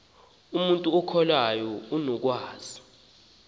umntu okholwayo unokwazi